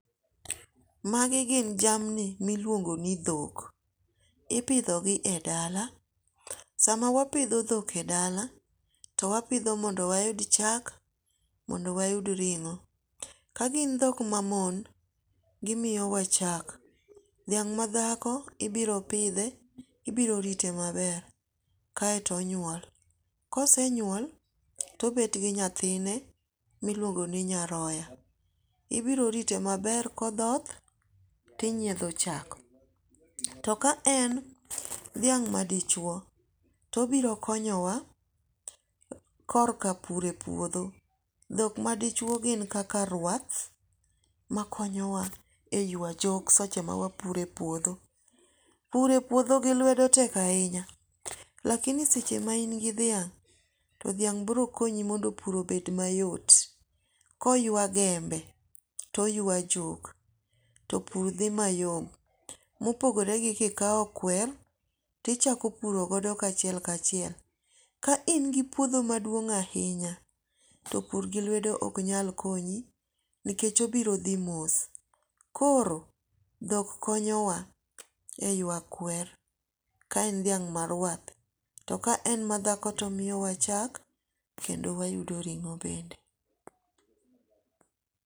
Magi gin jamni miluongo ni dhok, ipidthogi e dala, sama wapitho dhok e dala, to wapidho mondo wayud chak, mondo wayud ring'o, ka gin dhok mamon to gimiyowa chak, dhiang' mathako ibiro pidhe, ibiro rite maber, kaeto onyuol, kose nyuol, to obet gi nyathine miluongo ni nyaroya, ibiro rite maber kothoth tinyietho chak, to ka en dhiang' madichuo to obiro konyowa kor ka pur e puotho, dhok ma dichuo gin kaka rwath makonyowa e ywa jok seche ma wapuro e puodho. Pur e puotho gi lwedo tek ahinya, lakini seche ma ingi dhiang' to dhiang' biro konyi mondo pur obed mayot koywa gembe to oywa jok to pur thi mayom. Mopogore gi kawo kwer tichako purogo kachiel kachiel ka in gi puodho maduong' ahinya to pur gi lwedo ok nyal konyi nikech obiro thi mos, koro dhok konyowa e ywa kwer ka en dhiang' marwath , to ka en mathako to omiyowa chak kendo wayudo ring'o bende.